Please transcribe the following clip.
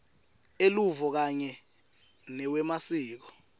eluvo kanye newemasiko